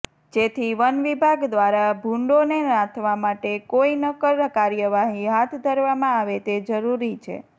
જેથી વનવિભાગ દ્વારા ભૂંડોને નાથવા માટે કોઈ નક્કર કાર્યવાહી હાથ ધરવામાં આવે તે જરૃરી છે